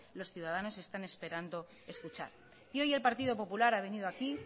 los ciudadanos están esperando escuchar y hoy el partido popular ha venido aquí